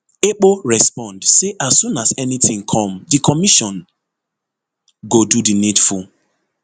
ekpo respond say as soon anytin come di commission go do di needful